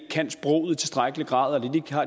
tilstrækkeligt grad